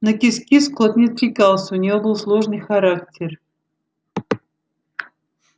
на кис-кис кот не откликался у него был сложный характер